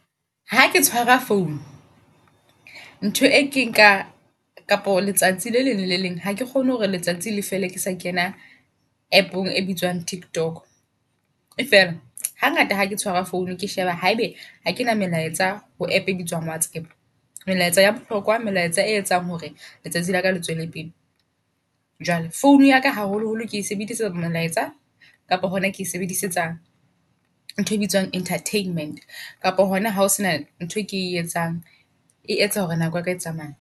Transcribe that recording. Ha ke tshwara phone, ntho e ke nka kapo letsatsi le leng lele leng. Hake kgone hore letsatsi leka fele ke sa kena App-ong e bitswang TikTok. E fela ha ngata hake tshwara phone ke sheba ha ebe ha kena melaetsa ho App e bitswang WhatsApp. Melaetsa ya bohlokwa melaetsa e etsang hore letsatsi laka le tswele pele. Jwale phone ya ka haholo-holo ke e sebedisetsa melaetsa kapo hona ke sebedisetsa ntho e bitswang entertainment. Kapa hona hao sena ntho e ke e etsang, e etsa hore nako ya ka e tsamaye.